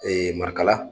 marikala